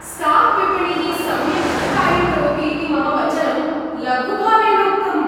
स्टाक्विपणिः सम्यक् न कार्यं करोति इति मम वचनं लघुभावेन उक्तम्।